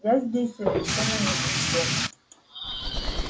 я здесь совершенно ни при чем